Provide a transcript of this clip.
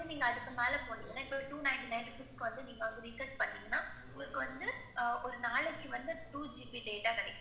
ஆமா, ஒரு month துக்கு இப்ப வந்து நீங்க அதுக்கு மேல போனீங்கன்னா, இப்ப two ninety nine rupees க்கு வந்து நீங்க வந்து recharge பண்னுணீங்கன்னா, உங்களுக்கு வந்து ஆஹ் ஒரு நாளைக்கு வந்து two GB data கிடைக்கும்.